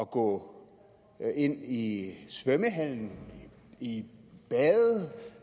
gå ind i svømmehallen og i bad